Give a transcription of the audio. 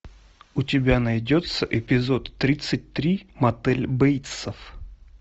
у тебя найдется эпизод тридцать три мотель бейтсов